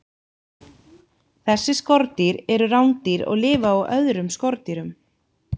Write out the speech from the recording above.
Þessi skordýr eru rándýr og lifa á öðrum skordýrum.